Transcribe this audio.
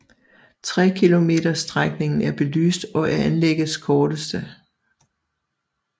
Trekilometersstrækningen er belyst og er anlæggets korteste